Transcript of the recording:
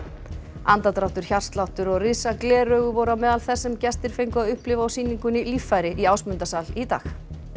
andardráttur hjartsláttur og risa gler augu voru á meðal þess sem gestir fengu að upplifa á sýningunni líffæri í Ásmundarsal í dag